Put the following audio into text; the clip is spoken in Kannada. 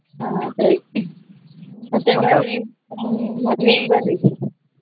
ಹಾ ಸರಿ ಮತ್ತೆ ಬನ್ನಿ ಮದ್ವಿಗ್ ಬರ್ರಿ.